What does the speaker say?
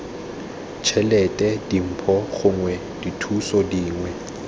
tšhelete dimpho gongwe dithuso dingwe